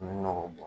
nɔgɔ bɔ